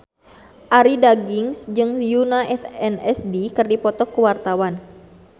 Arie Daginks jeung Yoona SNSD keur dipoto ku wartawan